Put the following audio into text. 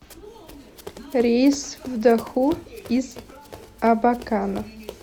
рейс в доху из абакана